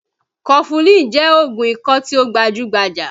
Kọfulin jẹ́ oògùn ikọ́ tí ó gbajú-gbajà